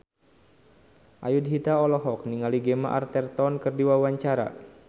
Ayudhita olohok ningali Gemma Arterton keur diwawancara